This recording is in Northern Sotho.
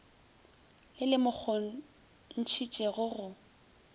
le le mo kgontšhitšego go